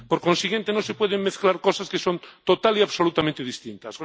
Por consiguiente, no se pueden mezclar cosas que son total y absolutamente distintas.